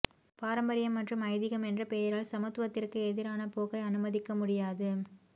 பாரம்பரியம் மற்றும் ஐதீகம் என்ற பெயரால் சமத்துவத்திற்கு எதிரான போக்கை அனுமதிக்க முடியாது